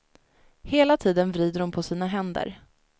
Hela tiden vrider hon på sina händer.